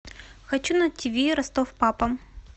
хочу на тиви ростов папа